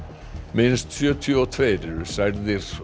minnst sjötíu og tveir eru særðir